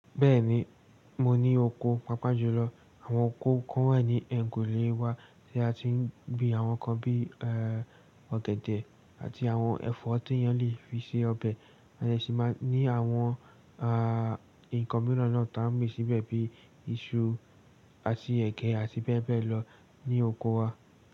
Bẹ́ẹ̀ni, mo ní oko pàápàá jùlọ. Àwọn oko kan wà ní ẹ̀yìnkùlé wa tí a ti ń gbin àwọn nǹkan bí i, ẹ́, ọ̀gẹ̀dẹ̀ àti àwọn ẹ̀fọ́ tí ẹ́niyàn le fi se ọbẹ̀, ẹ́ṣin máa ní àwọn, àáá, nǹkan mìíràn náà tó máa ń gbìn síbẹ̀ bíi iṣu àti ẹ̀gẹ́ àti bẹ́ẹ̀ bẹ́ẹ̀ lọ ní oko wa.